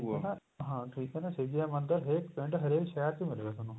ਠੀਕ ਏ ਨਾ ਹਾਂ ਠੀਕ ਏ ਨਾ ਸ਼ਿਵ ਜੀ ਦਾ ਮੰਦਰ ਹਰੇਕ ਪਿੰਡ ਹਰੇਕ ਸ਼ਹਿਰ ਚ ਮਿਲੁਗਾ ਤੁਹਾਨੂੰ